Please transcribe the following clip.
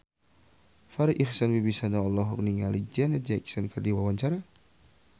Farri Icksan Wibisana olohok ningali Janet Jackson keur diwawancara